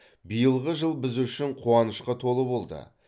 биылғы жыл біз үшін қуанышқа толы болды